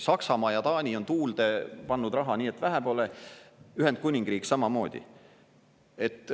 Saksamaa ja Taani on tuulde pannud raha, nii et vähe pole, Ühendkuningriik samamoodi.